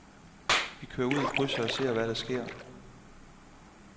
Vi kører ud i krydset og ser, hvad der sker.